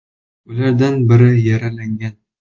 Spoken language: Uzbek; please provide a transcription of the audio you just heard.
Ulardan biri yaralangan.